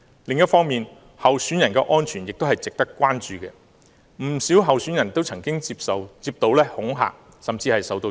另一方面，候選人的安全也是值得關注的，不少候選人也曾接過恐嚇，甚至受襲。